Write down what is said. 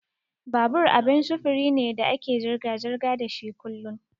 Babur abin sufuri ne da ake zirga-zirga dashi kullun.